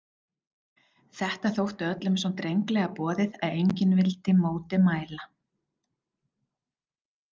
Þetta þótti öllum svo drengilega boðið að enginn vildi móti mæla.